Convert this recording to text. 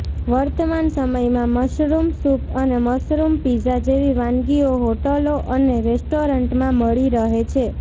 વર્તમાન સમયમાં mushroom soup અને મશરૂમ પીઝા જેવી વાનગીઓ હોટલો અને રેસ્ટોરન્ટમાં મળી રહે છે